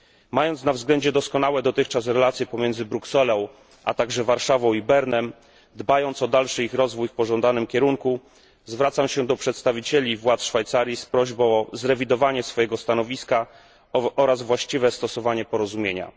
Mając na względzie doskonałe dotychczas relacje pomiędzy Brukselą, a także Warszawą, i Bernem, dbając o dalszy ich rozwój w pożądanym kierunku, zwracam się do przedstawicieli władz Szwajcarii z prośbą o zrewidowanie swojego stanowiska oraz właściwe stosowanie porozumienia.